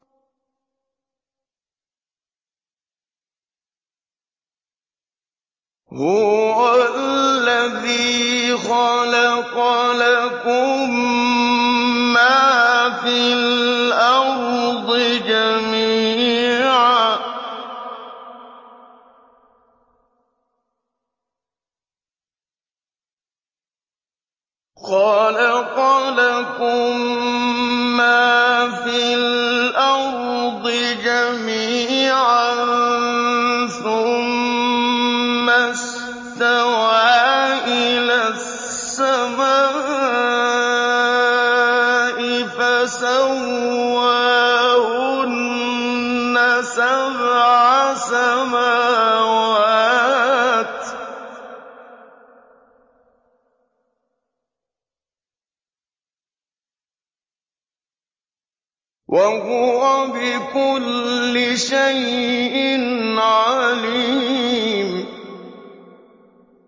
هُوَ الَّذِي خَلَقَ لَكُم مَّا فِي الْأَرْضِ جَمِيعًا ثُمَّ اسْتَوَىٰ إِلَى السَّمَاءِ فَسَوَّاهُنَّ سَبْعَ سَمَاوَاتٍ ۚ وَهُوَ بِكُلِّ شَيْءٍ عَلِيمٌ